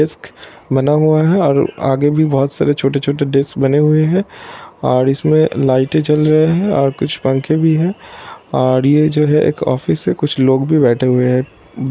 बना हुआ है और आगे भी बहुत सारे छोटे-छोटे डेस्क बने हुए है और इसमें लाइटे जल रहे है और कुछ पंखे भी है| और ये जो है ये एक ऑफिस है कुछ लोग भी बैठे हुए है दूर पे|